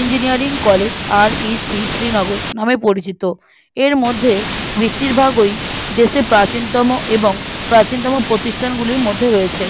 engineering collegeREC Srinagar নামে পরিচিত এরমধ্যে বেশিরভাগ ওই দেশে প্রাচীনতম এবং প্রাচীনতম প্রতিষ্ঠান গুলির মধ্যে রয়েছে